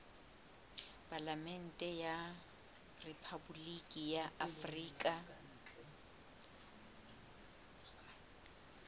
palamente ya rephaboliki ya afrika